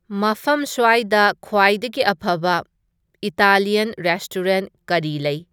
ꯃꯐꯝ ꯁ꯭ꯋꯥꯏꯗ ꯈ꯭ꯋꯥꯏꯗꯒꯤ ꯑꯐꯕ ꯏꯇꯥꯂꯤꯌꯟ ꯔꯦꯁꯇꯣꯔꯦꯅ꯭ꯠ ꯀꯔꯤ ꯂꯩ